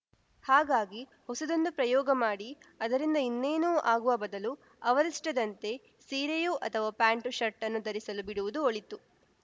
ಹಾಗಾಗಿ ಹೊಸದೊಂದು ಪ್ರಯೋಗ ಮಾಡಿ ಅದರಿಂದ ಇನ್ನೇನು ಆಗುವ ಬದಲು ಅವರಿಷ್ಟದಂತೆ ಸೀರೆಯೋ ಅಥವಾ ಪ್ಯಾಂಟ್‌ ಶರ್ಟನ್ನೋ ಧರಿಸಲು ಬಿಡುವುದು ಒಳಿತು